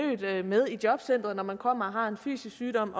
med i jobcenteret når man kommer og har en fysisk sygdom